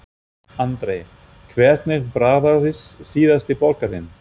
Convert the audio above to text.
Andri: Hvernig bragðaðist síðasti borgarinn?